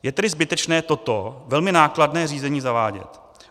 Je tedy zbytečné toto velmi nákladné řízení zavádět.